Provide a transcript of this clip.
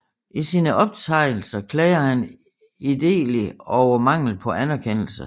I sine optegnelser klager han idelig over mangel på anerkendelse